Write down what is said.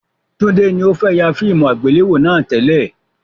Tunde ni o fẹ yà fíìmù àgbéléwò náà tẹ́lẹ̀